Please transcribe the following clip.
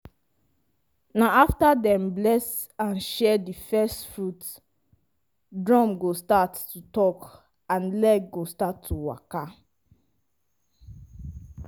na after dem bless and share di first fruits drum go start to talk and leg go start to waka.